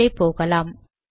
மேலே போகலாம்